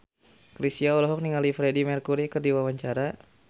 Chrisye olohok ningali Freedie Mercury keur diwawancara